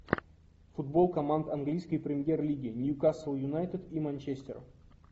футбол команд английской премьер лиги ньюкасл юнайтед и манчестер